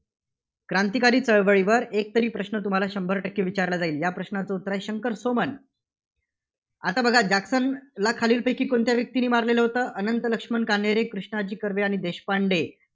क्रांतिकारी चळवळीवर एकतरी प्रश्न तुम्हाला शंभर टक्के विचारला जाईल. या प्रश्नाचं उत्तर आहे, शंकर सोमन. आता बघा जॅक्सनला खालीलपैकी कोणत्या व्यक्तीने मारलेलं होतं? अनंत लक्ष्मण कान्हेरे, कृष्णाजी कर्वे आणि देशपांडे